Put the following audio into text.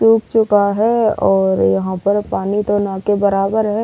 सुख चुका है और यहां पर पानी तो न के बराबर है।